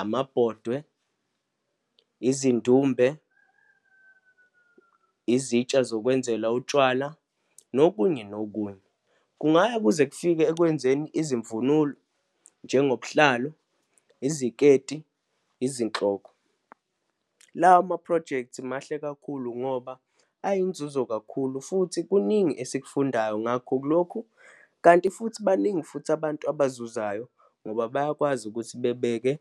amabhodwe, izindumbe, izitsha zokwenzela utshwala, nokunye nokunye. Kungaya kuze kufike ekwenzeni izimvulo, njengobuhlalu, iziketi, izinhloko. Lawa maphrojekthi mahle kakhulu ngoba ayinzuzo kakhulu futhi kuningi esikufundayo ngakho kulokhu. Kanti futhi baningi futhi abantu abazayo ngoba bayakwazi ukuthi bebeke